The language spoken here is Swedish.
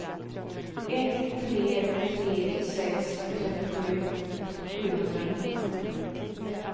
ett tre tre sex trettiosju sjuhundranitton